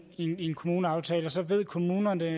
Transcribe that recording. i en kommuneaftale så ved kommunerne